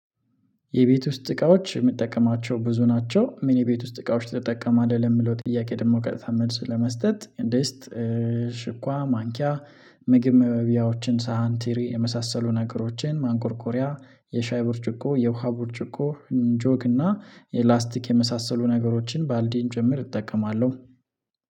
የቤት ውስጥ እቃዎች ምጠቀማቸው ብዙ ናቸው ምን የቤት ውስጥ እቃዎች ትጠቀማለህ? ለምለው ጥያቄ ደግሞ ቀጥታ መልስ ለመስጠት ሽኳ ማንኪያ ምግብ መብያዎችን ሳህን ትሪ የመሳሰሉ ነገሮችን ማንቆርቆሪያ የሻይ ብርጭቆ የውሃ ብርጭቆ ጆግ እና የላስቲክ የመሳሰሉ ነገሮችን ባልዲን ጭምር እጠቀማለሁ